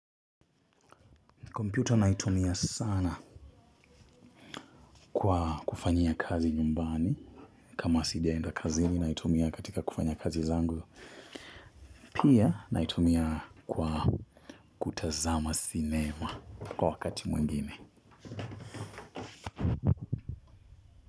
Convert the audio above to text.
Kompyuta naitumia sana kwa kufanyia kazi nyumbani. Kama sijaenda kazini naitumia katika kufanya kazi zangu. Pia naitumia kwa kutazama sinema kwa wakati mwengine.